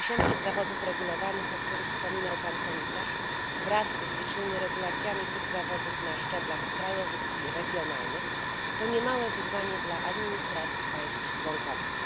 800 zawodów regulowanych, o których wspominał pan komisarz, wraz z licznymi regulacjami tych zawodów na szczeblach krajowych i regionalnych, to niemałe wyzwanie dla administracji państw członkowskich.